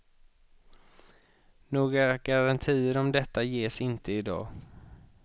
Några garantier om detta ges inte idag.